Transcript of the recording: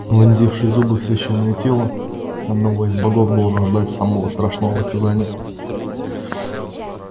вонзивший зубы в священное тело одного из богов должен ждать самого страшного наказания